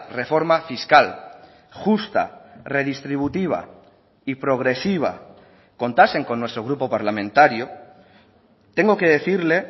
reforma fiscal justa redistributiva y progresiva contasen con nuestro grupo parlamentario tengo que decirle